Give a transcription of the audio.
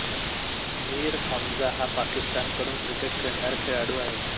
मिर हमझा हा पाकिस्तानकडून क्रिकेट खेळणारा खेळाडू आहे